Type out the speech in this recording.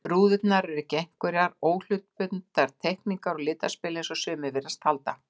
Rúðurnar eru ekki einhverjar óhlutbundnar teikningar og litaspil, eins og sumir virðast halda.